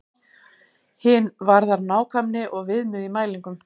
Hin varðar nákvæmni og viðmið í mælingum.